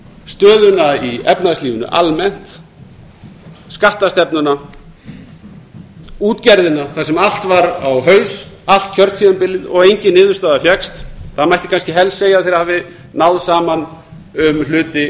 stöðuna í efnahagslífinu almennt skattstefnuna útgerðina þar sem allt var á haus allt kjörtímabilið þar sem engin niðurstaða fékkst það mætti kannski helst segja að þeir hafi náð saman um hluti